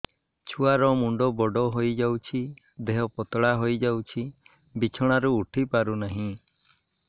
ଛୁଆ ର ମୁଣ୍ଡ ବଡ ହୋଇଯାଉଛି ଦେହ ପତଳା ହୋଇଯାଉଛି ବିଛଣାରୁ ଉଠି ପାରୁନାହିଁ